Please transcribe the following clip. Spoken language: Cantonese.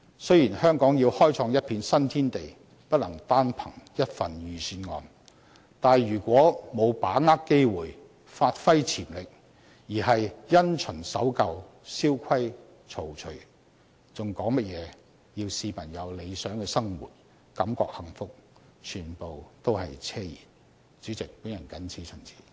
雖然香港要開創一片新天地，不能單憑一份預算案，但如果沒有把握機會，發揮潛力，而是因循守舊，蕭規曹隨，還談甚麼要市民有理想的生活，感覺幸福，全部都是奢言。